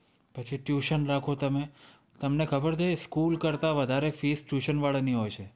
પછી tuition રાખો તમે, તમને ખબર છે! School કરતા વધારે fees tuition વાળાની હોય છે.